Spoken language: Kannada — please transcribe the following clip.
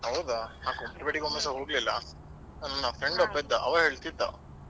ಹೌದಾ Kumble ಬೇಡಿಗೆ ಇಷ್ಟ್ರವರಿಗೆ ನಾನು ಹೋಗ್ಲಿಲ್ಲ ನನ್ನ friend ಒಬ್ಬ ಇದ್ದ.